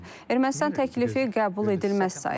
Ermənistan təklifi qəbul edilməz sayıb.